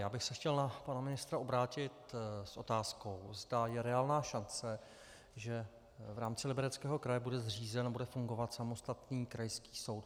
Já bych se chtěl na pana ministra obrátit s otázkou, zda je reálná šance, že v rámci Libereckého kraje bude zřízen a bude fungovat samostatný krajský soud.